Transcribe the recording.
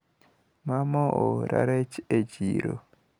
Mama oora rech e chiro.